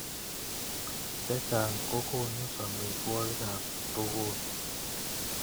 Chechang kokokunu samiswokik ab tukun.